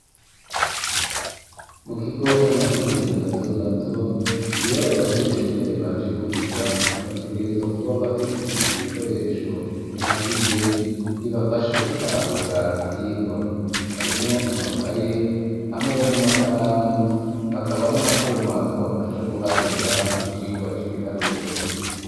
Mu kigo c'amashuri mato mato iyo abanyeshure baje kwiga bategereza kuba bafise ibikoresho bihagije bibafasha gutahura ibvirwa harimwo amakaye hamwe n'amakaramu hakaba n'akuma kabafasha guharura mu cirwa c'ibiharuro.